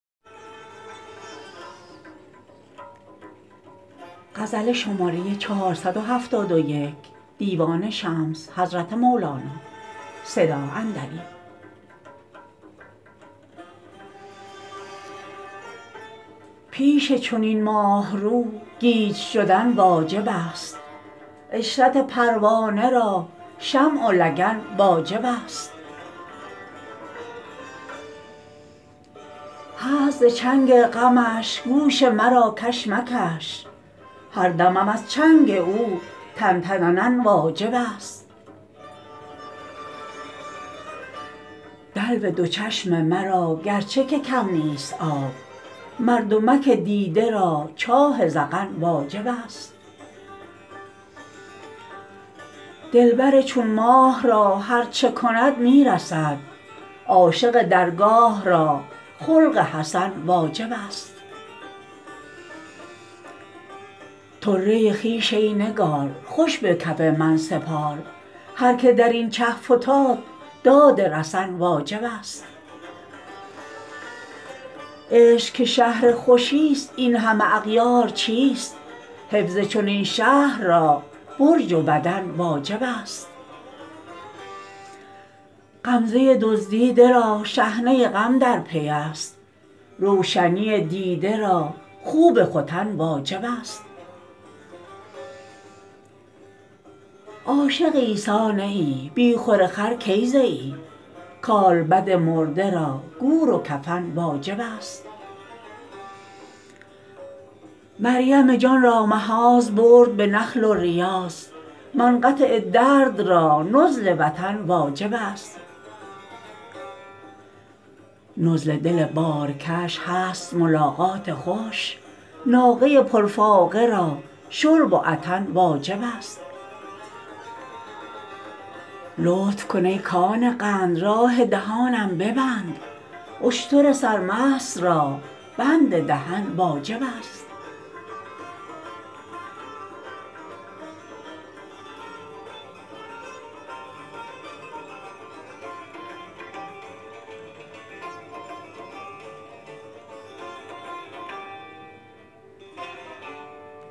پیش چنین ماه رو گیج شدن واجبست عشرت پروانه را شمع و لگن واجبست هست ز چنگ غمش گوش مرا کش مکش هر دمم از چنگ او تن تننن واجبست دلو دو چشم مرا گرچه که کم نیست آب مردمک دیده را چاه ذقن واجبست دلبر چون ماه را هر چه کند می رسد عاشق درگاه را خلق حسن واجبست طره خویش ای نگار خوش به کف من سپار هر که در این چه فتاد داد رسن واجبست عشق که شهر خوشیست این همه اغیار چیست حفظ چنین شهر را برج و بدن واجبست غمزه دزدیده را شحنه غم در پی ست روشنی دیده را خوب ختن واجبست عاشق عیسی نه ای بی خور و خر کی زیی کالبد مرده را گور و کفن واجبست مریم جان را مخاض برد به نخل و ریاض منقطع درد را نزل وطن واجبست نزل دل بارکش هست ملاقات خوش ناقه پرفاقه را شرب و عطن واجبست لطف کن ای کان قند راه دهانم ببند اشتر سرمست را بند دهن واجبست